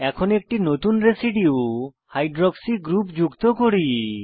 এখন একটি নতুন রেসিডিউ হাইড্রক্সি গ্রুপ যুক্ত করি